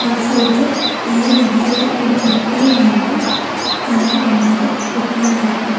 ആ സ്ഥലത്ത് നീല നിറത്തില്ല ഒരു പെട്ടിയിൽ നിന്നും കയർ കമ്പികൾ പൊയ്ക്കൊണ്ടിരിക്കുന്നു.